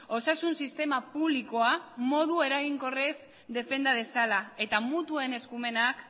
osasun sistema publikoa modu eraginkorrez defenda dezala eta mutuen eskumenak